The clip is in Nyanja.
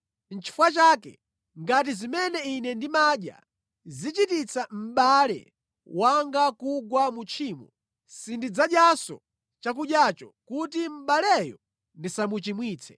Nʼchifukwa chake ngati zimene ine ndimadya zichititsa mʼbale wanga kugwa mu tchimo, sindidzadyanso chakudyacho kuti mʼbaleyo ndisamuchimwitse.